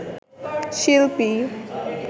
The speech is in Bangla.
শিল্পী